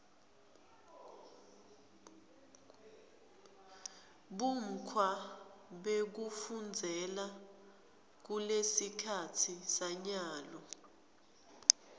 bumgkwa bekufunzela kulesikhatsi sanyalo